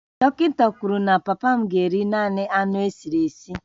Dọkịta kwuru na papa m ga-eri naanị anụ esiri esi